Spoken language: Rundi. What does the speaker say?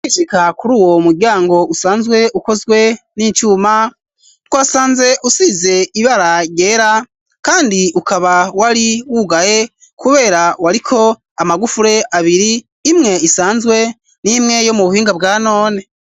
Gushika kur'uwo muryango usanzwe ukozwe n'icuma ,twasanze usize ibara ryera kandi ukaba wari wugaye kubera wariko amagufuri abiri imwe isanzwe n'imwe yo mu buhinga bwanone.